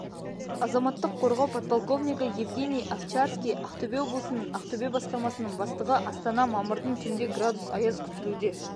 азаматтық қорғау подполковнигі евгений овчарский ақтөбе облысының ақтөбе басқармасының бастығы астана мамырдың түнде градус аяз күтілуде